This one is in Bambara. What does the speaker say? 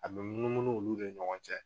A bɛ munumunu olu de ɲɔgɔn cɛ.